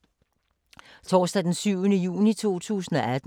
Torsdag d. 7. juni 2018